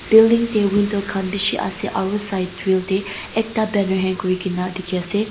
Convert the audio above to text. Building teh window khan beshi ase aro side grill teh ekta banner hang kuri kena dekhi ase.